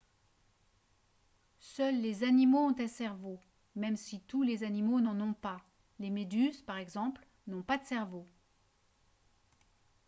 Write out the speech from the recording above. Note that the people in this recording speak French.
seuls les animaux ont un cerveau même si tous les animaux n’en ont pas ; les méduses par exemple n’ont pas de cerveau